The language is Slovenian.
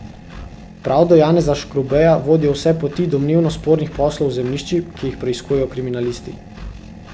Prav do Janeza Škrubeja vodijo vse poti domnevno spornih poslov z zemljišči, ki jih preiskujejo kriminalisti.